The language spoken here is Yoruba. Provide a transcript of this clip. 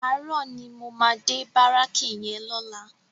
Àárò ni mó má dé báráki yèn lòlá